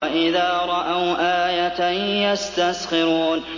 وَإِذَا رَأَوْا آيَةً يَسْتَسْخِرُونَ